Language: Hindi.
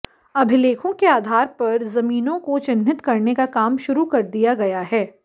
अभिलेखों के आधार पर जमीनों को चिह्नित करने का काम शुरू कर दिया गया है